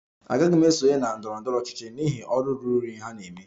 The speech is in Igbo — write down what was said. Agaghị m esonye na ndọrọ ndọrọ ọchịchị n'ihi ọrụ ruru unyi ha na-eme